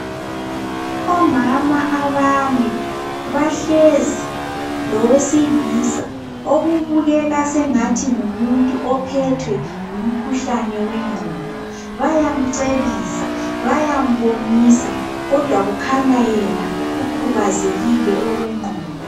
Omama abane bahlezi lowesilisa okubukeka sengathi ngumuntu ophethwe ngumkhuhlane wengqondo. Bayamcebisa bayambonisa kodwa yena kukhanya ukhubazekile okwengqondo.